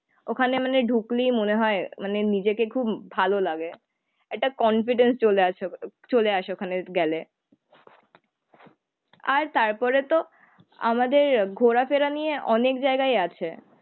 ওখানে মানে ঢুকলেই মনে হয় মানে নিজেকে খুব ভালো লাগে, একটা কনফিডেন্স চলে আসে চলে আসে ওখানে গেলে। আর তারপরেতো আমাদের ঘোরাফেরা নিয়ে অনেক জায়গায় আছে।